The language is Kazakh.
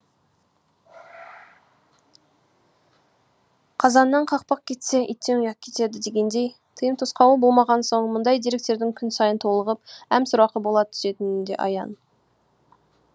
қазаннан қақпақ кетсе иттен ұят кетеді дегендей тыйым тосқауыл болмаған соң мұндай деректердің күн сайын толығып әм сорақы бола түсетіні де аян